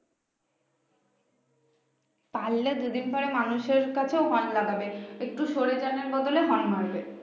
পারলে যদি পারে মানুষের কাছেও horn লাগবে একটু সরে যান এর বদলে horn মারবে